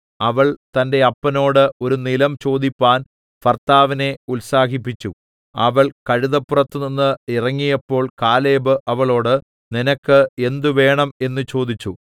അവൾ തന്റെ അപ്പനോട് ഒരു നിലം ചോദിപ്പാൻ ഭർത്താവിനെ ഉത്സാഹിപ്പിച്ചു അവൾ കഴുതപ്പുറത്തുനിന്ന് ഇറങ്ങിയപ്പോൾ കാലേബ് അവളോട് നിനക്ക് എന്തുവേണം എന്ന് ചോദിച്ചു